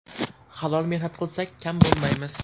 Halol mehnat qilsak, kam bo‘lmaymiz.